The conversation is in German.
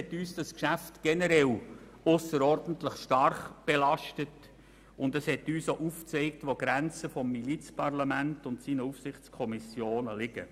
Übrigens hat uns dieses Geschäft generell ausserordentlich stark belastet, und es hat uns auch aufgezeigt, wo die Grenzen des Milizparlaments und seiner Aufsichtskommissionen liegen.